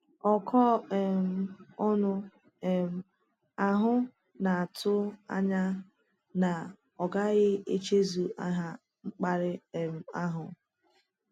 Ọkọ um ọnụ um àhụ na-atụ anya na a gaghị echezọ aha mkparị um àhụ.